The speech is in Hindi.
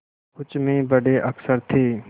कुछ में बड़े अक्षर थे